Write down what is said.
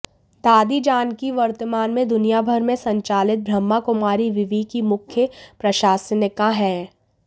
दादी जानकी वर्तमान में दुनिया भर में संचालित ब्रह्मकुमारी विवि की मुख्य प्रशासनिका हैं